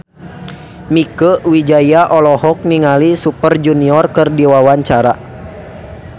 Mieke Wijaya olohok ningali Super Junior keur diwawancara